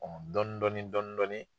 dɔni dɔni dɔni dɔɔni.